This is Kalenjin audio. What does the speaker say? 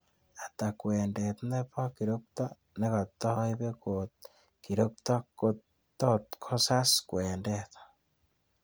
Ata kwendet ne po kirokto negataiipe kot kirokto kot tosgosas kwendet